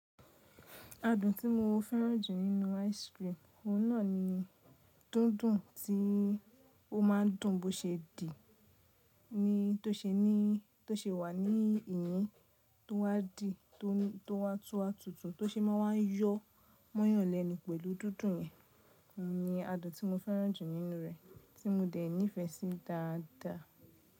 Adùn tí mo fẹ́ràn jù nínú ice cream, òun náà ni dúndùn tí ó máa ń dùn bó ṣe dì ni to ṣe wà ní ìyín tó wá di tó wá tún wa tutu tó ṣe máa wá yọ mọ́yanlẹnu pẹ̀lú dúndùn yẹn, òun ni adùn tí mo fẹ́ràn jù nínú rẹ̀ tí mo dẹ̀ nífẹsí dáadáa.